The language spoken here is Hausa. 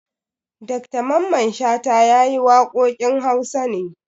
Dr Mamman Shata ya yi waƙoƙin Hausa ne.